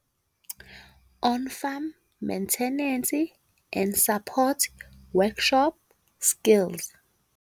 On Farm Maintenance and Support Workshop Skills.